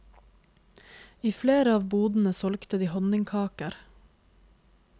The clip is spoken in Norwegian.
I flere av bodene solgte de honningkaker.